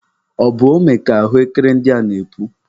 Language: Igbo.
Ọ bụ ome ka ahụekere ndị a na-epu?